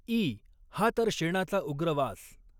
E.. हा तर शेणाचा उग्र वास.